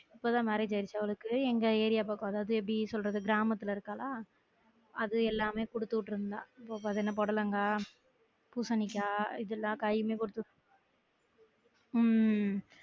இப்ப தான் marriage ஆயிருக்கு அவளுக்கு எங்க area பக்கம் அதாவது எப்படி சொல்றது கிராமத்துல இருக்கலா அது எல்லாமே குடுத்து விட்டுருந்தா அதென்ன புடலங்கா, பூசணிக்காய் இது எல்லா காயுமே உம்